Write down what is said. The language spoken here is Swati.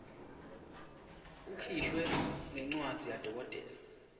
ukhishwe ngencwadzi yadokotela